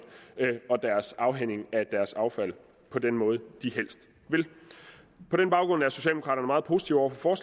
og deres afhænding af deres affald på den måde de helst vil på den baggrund er socialdemokraterne meget positive over for